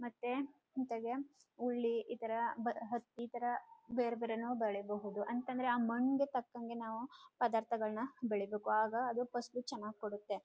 ಮತ್ತೆ ಜೊತೆಗೆ ಹುಳಿ ಇತರ ಹತ್ತಿ ಇತರ ಬೇರೆ ಬೇರೇನೂ ಬೆಳಿಬಹುದು ಅಂತಂದ್ರೆ ಆ ಮಣ್ಣಗೆ ತಕಂಗೆ ನಾವು ಪದಾರ್ಥಗಳನ ಬೆಳೀಬೇಕು ಆಗ ಅದು ಪಸಲು ಚನ್ನಾಗ್ ಕೊಡುತ್ತೆ.